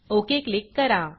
okay click करा